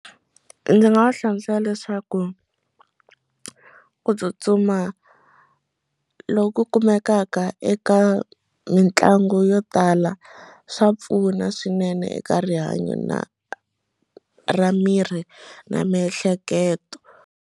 Ndzi nga va hlamusela leswaku ku tsutsuma loku kumekaka eka mitlangu yo tala swa pfuna swinene eka rihanyo na ra miri na miehleketo.